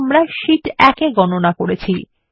যা আমরা শীট ১এ গণনা করেছি